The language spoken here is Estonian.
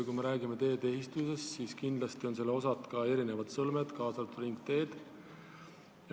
Kui räägime teedeehitusest, siis kindlasti on selle osad ka erinevad sõlmed, kaasa arvatud ringteed.